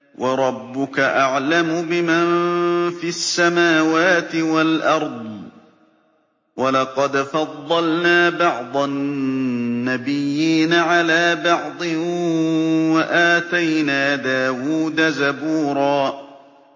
وَرَبُّكَ أَعْلَمُ بِمَن فِي السَّمَاوَاتِ وَالْأَرْضِ ۗ وَلَقَدْ فَضَّلْنَا بَعْضَ النَّبِيِّينَ عَلَىٰ بَعْضٍ ۖ وَآتَيْنَا دَاوُودَ زَبُورًا